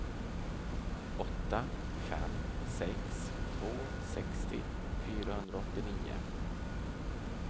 åtta fem sex två sextio fyrahundraåttionio